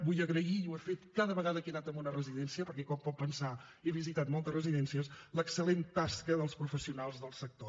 vull agrair i ho he fet cada vegada que he anat a una residència perquè com pot pensar he visitat moltes residències l’excel·lent tasca dels professionals del sector